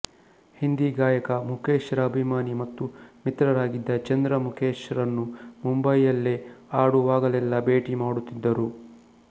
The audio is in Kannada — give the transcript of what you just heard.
ಹಿಂದಿ ಗಾಯಕ ಮುಖೇಶ್ ರ ಅಭಿಮಾನಿ ಮತ್ತು ಮಿತ್ರರಾಗಿದ್ದ ಚಂದ್ರ ಮುಖೇಶ್ ರನ್ನು ಮುಂಬಯಿ ಯಲ್ಲಿ ಆಡುವಾಗಲೆಲ್ಲ ಭೇಟಿ ಮಾಡುತ್ತಿದ್ದರು